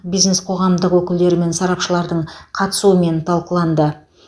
бизнес қоғамдастық өкілдері мен сарапшылардың қатысуымен талқыланды